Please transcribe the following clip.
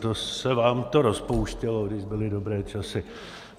To se vám to rozpouštělo, když byly dobré časy!